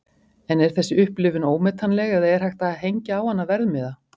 En er þessi upplifun ómetanleg eða er hægt að hengja á hana verðmiða?